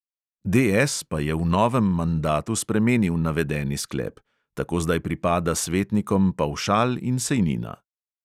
DS pa je v novem mandatu spremenil navedeni sklep; tako zdaj pripada svetnikom pavšal in sejnina.